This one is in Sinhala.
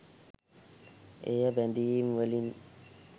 එය බැඳීම්වලින්